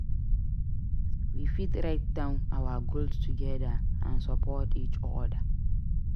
We fit write down our goals together and support each other.